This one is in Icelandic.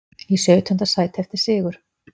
Í sautjánda sæti eftir sigur